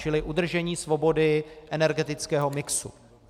Čili udržení svobody energetického mixu.